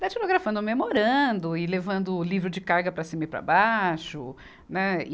Datilografando, memorando e levando o livro de carga para cima e para baixo, né?